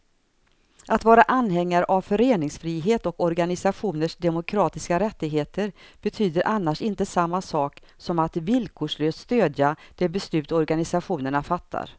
Att vara anhängare av föreningsfrihet och organisationers demokratiska rättigheter betyder annars inte samma sak som att villkorslöst stödja de beslut organisationerna fattar.